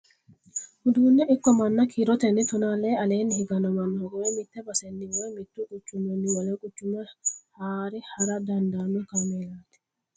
Uduune ikko manna kiiroteni tona lee aleeni higano manna hogowe mite baseni woyi mitu quchumini wole quchuma haare hara dandaano kaameellati.